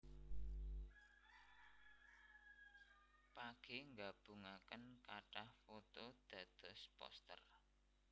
Page Nggabungaken kathah foto dados poster